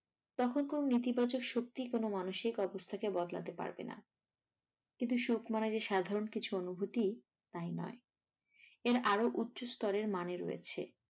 তখন কোনো নেতিবাচক শক্তি কোনো মানসিক অবস্থা কে বদলাতে পারবেনা। কিন্তু সুখ মানে যে সাধারণ কিছু অনুভূতি তাই নয় এর আরো উচ্চস্তরের মানে রয়েছে